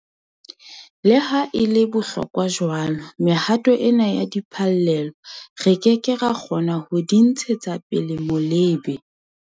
Le ha e le ya bohlokwa jwalo, mehato ena ya diphallelo, re ke ke ra kgona ho di ntshetsa pele molebe.